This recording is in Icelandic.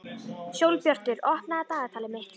Sólbjartur, opnaðu dagatalið mitt.